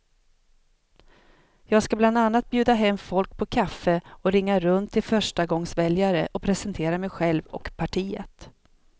Jag ska bland annat bjuda hem folk på kaffe och ringa runt till förstagångsväljare och presentera mig själv och partiet.